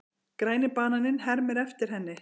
Græni bananinn hermir eftir henni.